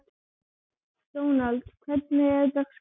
Dónald, hvernig er dagskráin?